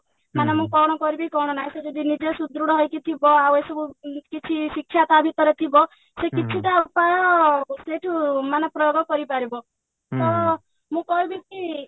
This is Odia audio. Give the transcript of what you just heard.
ମାନେ ମୁଁ କଣ କରିବି କଣ ନାଇଁ ସେ ଯଦି ନିଜେ ସୁଦୃଢ ହେଇକି ଥିବ ଆଉ ଏସବୁ କିଛି ଶିକ୍ଷା ତା ଭିତରେ ଥିବ ସେ କିଛିଟା ଉପାୟ ସେଇଠୁ ମାନେ ପ୍ରୟୋଗ କରିପାରିବ ତ ମୁଁ କହିବି କି